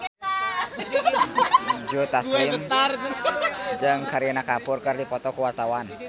Joe Taslim jeung Kareena Kapoor keur dipoto ku wartawan